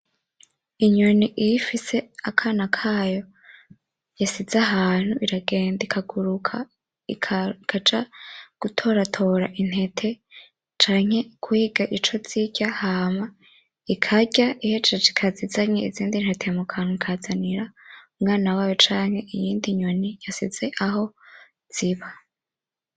Inyoni iyo ifise akana kayo isize ahantu iragenda ikaguruka ikuja gutoratora intete canke guhiga icozirya hama ikirya ihejeje ikaza izanye izindintete mukanwa ikazanira umwana wayo canke iyindi nyoni isize aho ziba.